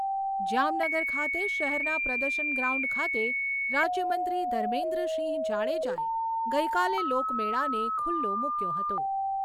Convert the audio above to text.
જામનગર ખાતે શહેરના પ્રદર્શન ગ્રાઉન્ડ ખાતે રાજ્યમંત્રી ધર્મેન્દ્રસિંહ જાડેજાએ ગઈકાલે લોકમેળાને ખુલ્લો મૂક્યો હતો.